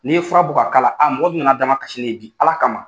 N'i ye fura bɔ ka k'a la bi, a mɔgɔ min nana dama ka sin ne ye bi ala kama.